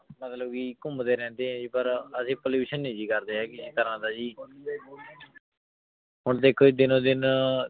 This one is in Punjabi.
ਮਤਲਬ ਕੇ ਘੁਮ੍ਡੀ ਰੇਹ੍ਨ੍ਡੇ ਜੀ ਅਸੀਂ ਪਰ ਅਸੀਂ pollution ਨਾਈ ਜੀ ਕਰਦੇ ਹੇਗੇ ਜੀ ਹੁਣ ਦੇਖੋ ਜੀ ਦਿਨੋ ਦਿਨ